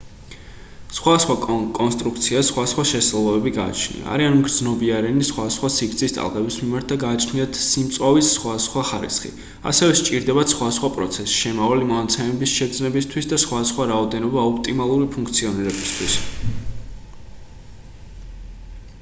სხვადასხვა კონსტრუქციას სხვადასხვა შესაძლებლობები გააჩნია არიან მგრძნობიარენი სხვადასხვა სიგრძის ტალღების მიმართ და გააჩნიათ სიმწვავის სხვადასხვა ხარისხი ასევე სჭირდებათ სხვადასხვა პროცესი შემავალი მონაცემების შეგრძნებისთვის და სხვადასხვა რაოდენობა ოპტიმალური ფუნქციონირებისთვის